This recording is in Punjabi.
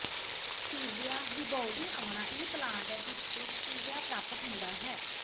ਸਟੀਵੀਯਾ ਰੀਬਾਉਡੀਆਨਾ ਉਹ ਪਲਾਂਟ ਹੈ ਜਿਸ ਤੋਂ ਸਟੀਵੀਆ ਪ੍ਰਾਪਤ ਹੁੰਦਾ ਹੈ